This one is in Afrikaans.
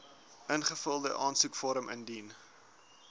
ingevulde aansoekvorm indien